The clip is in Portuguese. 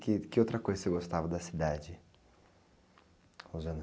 Que, que outra coisa você gostava da cidade?